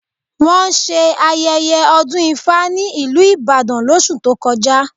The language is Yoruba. Wọ́n ṣe ayẹyẹ ọdún ifá ní ìlú Ìbàdàn lóṣù tó kọjá